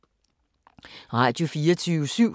Radio24syv